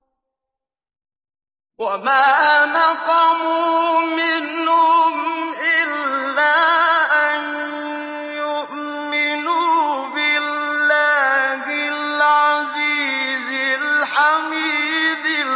وَمَا نَقَمُوا مِنْهُمْ إِلَّا أَن يُؤْمِنُوا بِاللَّهِ الْعَزِيزِ الْحَمِيدِ